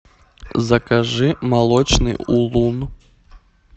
закажи молочный улун